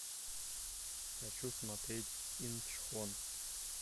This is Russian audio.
хочу смотреть инчхон